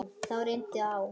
Þá reyndi á.